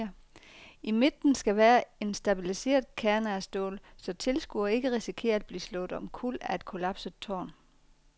I midten skal være en stabiliserende kerne af stål, så tilskuere ikke risikerer at blive slået omkuld af et kollapset tårn.